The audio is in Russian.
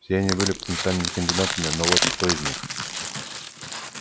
все они были потенциальными кандидатами но вот кто из них